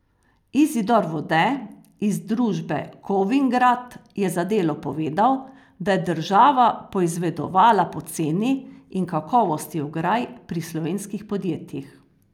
Izidor Vode iz družbe Kovingrad je za Delo povedal, da je država poizvedovala po ceni in kakovosti ograj pri slovenskih podjetjih.